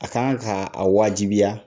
A kan kaa wajibiya